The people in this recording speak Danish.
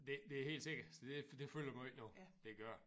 Det det er helt sikkert så det det fylder meget nu det gør det